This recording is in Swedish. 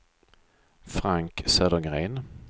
Frank Södergren